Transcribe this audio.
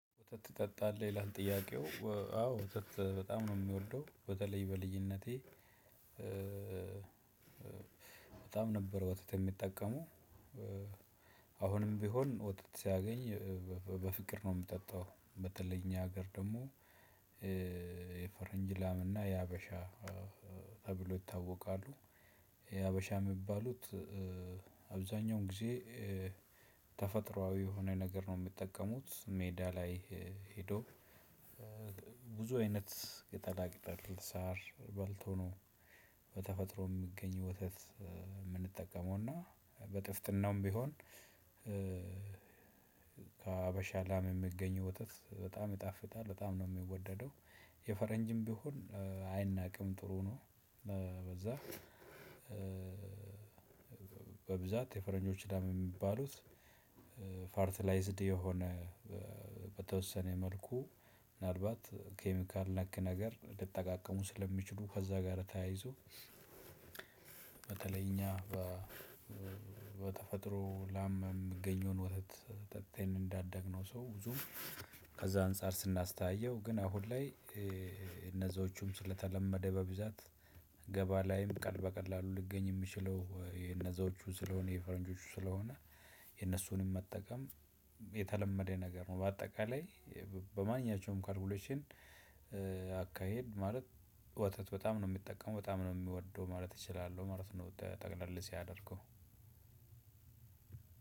ወተት ትጠጣለህ ይላል? ጥያቄው አዎ ወተት በጣም ነው የምወደው በተለይ በልጅነቴ በጣም ነበር ወተት የምጠቀመው። አሁንም ቢሆን ወተት ሳገኝ በፍቅር ነው የምጠጣው በተለይ እኛ ሀገር ደግሞ። የፈረንጅ ላምና የሀበሻ ተብለው ይታወቃሉ። የሀበሻ የሚባሉት። አብዛኛውን ጊዜ ተፈጥሮአዊ የሆነ ነገር ነው የሚጠቀሙት ሜዳ ላይ ሄደው ብዙ አይነት ቅጠላ ቅጠል ሳር በልተው ነው። በተፈጥሮ የሚገኝ ወተት የምንጠቀመውና በጥፍጥናውም ቢሆን። ከሀበሻ ላም የሚገኘው ወተት በጣም ይጣፍጣል በጣም ነው የሚወደደው። የፈረንጅም ቢሆን አይናቅም ጥሩ ነው። በዛ በብዛት የፈረንጆችን ላም የሚባሉት ፈርትላይዝድ የሆነ በተወሰነ መልኩ ምናልባት ኬሚካል ነክ ነገር ሊጠቃቀሙ ስለሚችሉ ከዛ ጋር ተያይዞ። በተለይ እኛ በተፈጥሮ ላም የሚገኘውን ወተት ጠጥተን እንዳዳግነው ሰው ብዙም ከዛ አንፃር ስናስተያየው ግን አሁን ላይ እነዛዎቹም ስለተለመደ በብዛት ገበያ ላይም በቀላሉ ሊገኝ የሚችለው የነዛዎቹ ስለሆነ የፈረንጆቹ ስለሆነ የነሱንም መጠቀም የተለመደ ነገር ነው። በአጠቃላይ በማንኛቸውም ካልኩሌሽን አካሄድ ማለት ወተት በጣም ነው የምጠቀመው በጣም ነው የምወደው ማለት እችላለሁ ማለት ነው። ጠቅለል ሳደርገው